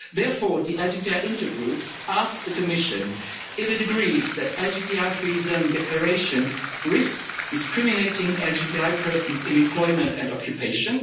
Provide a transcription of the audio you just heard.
Therefore, the LGBTI Intergroup asks the Commission if it agrees that LGBTI free zone declarations risk discriminating against LGBTI persons in employment and occupation.